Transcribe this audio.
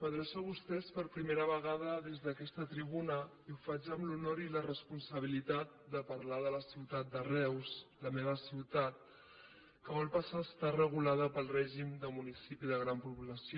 m’adreço a vostès per primera vegada des d’aquesta tribuna i ho faig amb l’honor i la responsabilitat de parlar de la ciutat de reus la meva ciutat que vol passar a estar regulada pel règim de municipi de gran població